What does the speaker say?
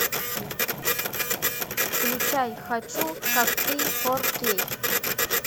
включай хочу как ты фор кей